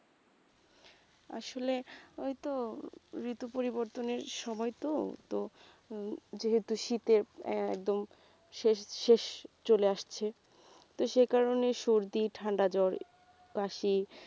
আসলে ওই তো ঋতু পরিবর্তনের সময় তো তো হম যেহেতু শীতের একদম শেষ শেষ চলে আসছে তো সেকারণে সর্দি ঠাণ্ডা জ্বর কাশি